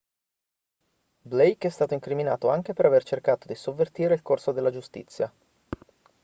blake è stato incriminato anche per aver cercato di sovvertire il corso della giustizia